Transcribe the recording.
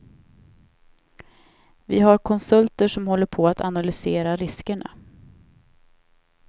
Vi har konsulter som håller på att analysera riskerna.